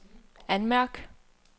anmærk